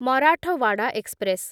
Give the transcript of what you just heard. Marathwada express